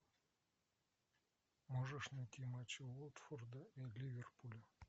можешь найти матч уотфорда и ливерпуля